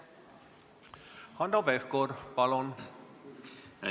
Hanno Pevkur, palun!